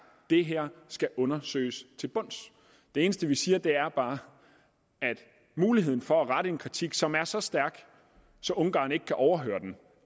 det her skal undersøges til bunds det eneste vi siger er bare at muligheden for at rette en kritik som er så stærk at ungarn ikke kan overhøre den